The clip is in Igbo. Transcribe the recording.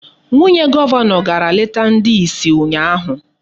Nwunye Gọvanọ gara leta ndị isi ụnyaahụ.